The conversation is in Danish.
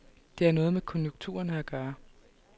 Det har noget med konjunkturerne at gøre.